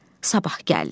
Sabah gəldi.